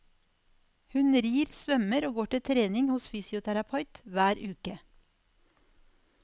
Hun rir, svømmer og går til trening hos fysioterapeut hver uke.